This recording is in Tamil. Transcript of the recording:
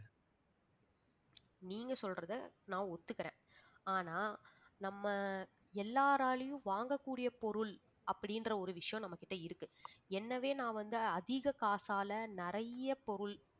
நீங்க சொல்றதை நான் ஒத்துக்குறேன் ஆனா நம்ம எல்லாராலையும் வாங்கக்கூடிய பொருள் அப்படின்ற ஒரு விஷயம் நம்ம கிட்ட இருக்கு என்னவே நான் வந்து அதிக காசால நிறைய பொருள்